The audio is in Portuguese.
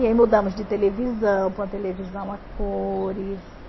E aí mudamos de televisão, pôr a televisão a cores.